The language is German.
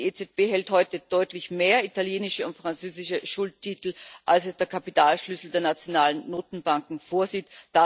Die EZB hält heute deutlich mehr italienische und französische Schuldtitel, als es der Kapitalschlüssel der nationalen Notenbanken vorsieht.